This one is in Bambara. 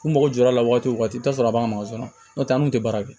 U mago jɔra a la waati o waati i bɛ taa sɔrɔ a b'a masɔrɔ n'o tɛ an kun tɛ baara kɛ